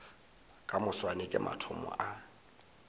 ka moswane ke mathomo a